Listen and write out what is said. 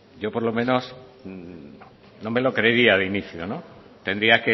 yo por lo menos no me lo creería de inicio tendría